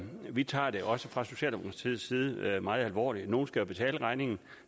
vi tager det også fra socialdemokratiets side meget alvorligt nogle skal jo betale regningen og